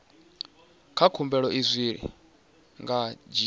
na khumbelo zwi nga dzhia